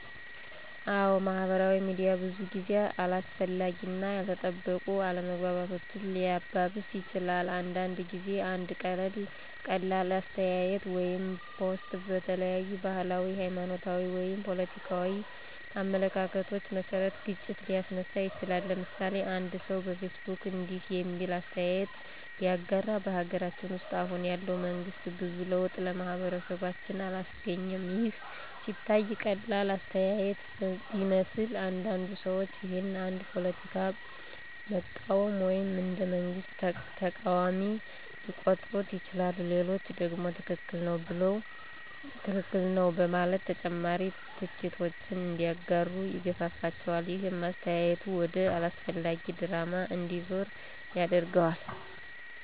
አዎ፣ ማህበራዊ ሚዲያ ብዙ ጊዜ አላስፈላጊ እና ያልተጠበቁ አለመግባባቶችን ሊያባብስ ይችላል። አንዳንድ ጊዜ አንድ ቀላል አስተያየት ወይም ፖስት በተለያዩ ባህላዊ፣ ሃይማኖታዊ ወይም ፖለቲካዊ አመለካከቶች መሰረት ግጭት ሊያስነሳ ይችላል። ለምሳሌ፦ አንድ ሰው በፌስቡክ እንዲህ የሚል አስተያየት ቢያጋራ። " በሀገራችን ውስጥ አሁን ያለው መንግስት ብዙ ለውጥ ለማህበረሰባችን አላስገኘም " ይህ ሲታይ ቀላል አስተያየት ቢመስልም፣ አንዳንድ ሰዎች ይህን እንደ ፖለቲካ መቃወም ወይም እንደ መንግስት ተቃዋሚ ሊቆጥሩት ይችላሉ። ሌሎቹ ደግሞ ትክክል ነው በማለት ተጨማሪ ትችቶችን እንዲያጋሩ ይገፋፋቸዋል። ይህም አስተያየቱ ወደ አላስፈላጊ ድራማ እንዲዞር ያደርገዋል።